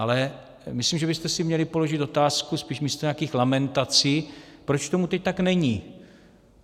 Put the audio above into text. Ale myslím, že byste si měli položit otázku spíš místo nějakých lamentací, proč tomu teď tak není.